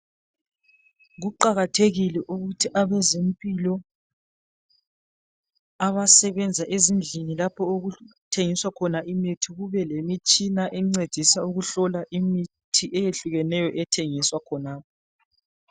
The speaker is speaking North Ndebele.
Kuqakathekile ukuthi abezempilo abasebenza ezindlini lapho okuthengiswa khona imithi, kube lemitshina encedisa ukuhlola imithi eyehlukeneyo ethengiswa khonapho.